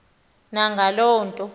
na ngaloo nto